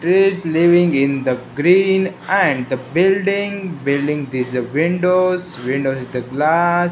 trees leaving in the green and the building building this a windows windows is the glass.